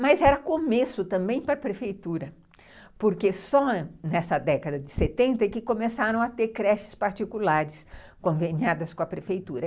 Mas era começo também para a prefeitura, porque só nessa década de setenta que começaram a ter creches particulares conveniadas com com a prefeitura.